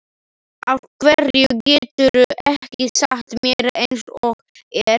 Af hverju geturðu ekki sagt mér eins og er?